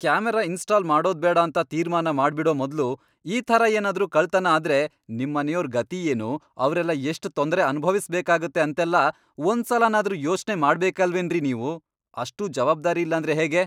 Camera install ಮಾಡೋದ್ಬೇಡ ಅಂತ ತೀರ್ಮಾನ ಮಾಡ್ಬಿಡೋ ಮೊದ್ಲು ಈ ಥರ ಏನಾದ್ರೂ ಕಳ್ತನ ಆದ್ರೆ ನಿಮ್ಮನೆಯೋರ್ ಗತಿ ಏನು, ಅವ್ರೆಲ್ಲ ಎಷ್ಟ್ ತೊಂದ್ರೆ ಅನುಭವಿಸ್ಬೇಕಾಗತ್ತೆ ಅಂತೆಲ್ಲ ಒಂದ್ಸಲನಾದ್ರೂ ಯೋಚ್ನೆ ಮಾಡ್ಬೇಕಲ್ವೇನ್ರಿ ನೀವು, ಅಷ್ಟೂ ಜವಾಬ್ದಾರಿ ಇಲ್ಲಾಂದ್ರೆ ಹೇಗೆ?!